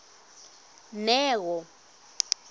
neo